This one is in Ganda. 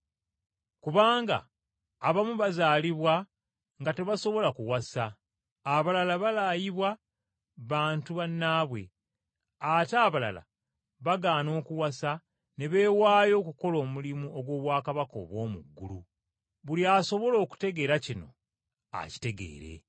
Kubanga abamu bazaalibwa nga tebasobola kuwasa abalala balaayibwa bantu bannaabwe ate abalala bagaana okuwasa ne beewaayo okukola omulimu ogw’obwakabaka obw’omu ggulu. Buli asobola okutegeera kino akitegeere.”